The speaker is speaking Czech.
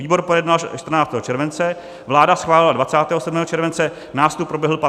Výbor projednal 14. července, vláda schválila 27. července, nástup proběhl 15. srpna.